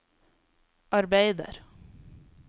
arbeider